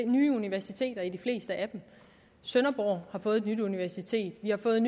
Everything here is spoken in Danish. nye universiteter i de fleste af dem sønderborg har fået et nyt universitet vi har fået